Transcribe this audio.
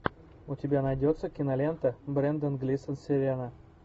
у тебя найдется кинолента брендан глисон сирена